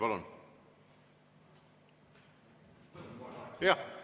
Palun!